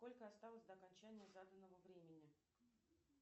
сколько осталось до окончания заданного времени